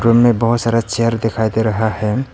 Room में बहुत सारा चेयर दिखाई दे रहा है।